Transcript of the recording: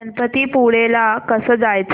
गणपतीपुळे ला कसं जायचं